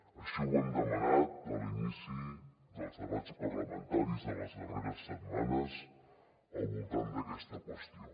així ho hem demanat a l’inici dels debats parlamentaris de les darreres setmanes al voltant d’aquesta qüestió